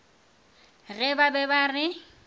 ge ba be ba re